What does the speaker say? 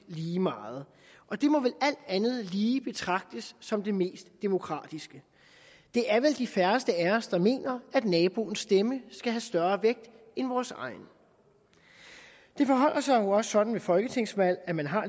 lige meget og det må vel alt andet lige betragtes som det mest demokratiske det er vel de færreste af os der mener at naboens stemme skal have større vægt end vores egen det forholder sig jo også sådan ved folketingsvalg at man har